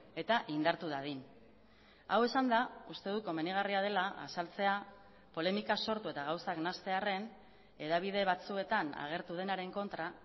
eta indartu dadin hau esanda uste dut komenigarria dela azaltzea polemika sortu eta gauzak nahastearren hedabide batzuetan agertu denaren kontra